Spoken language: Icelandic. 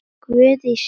Guð í sjálfum þér.